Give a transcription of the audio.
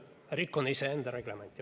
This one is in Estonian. Rikun iseenda reglementi.